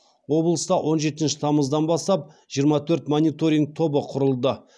облыста он жетінші тамыздан бастап жиырма төрт мониторинг тобы құрылды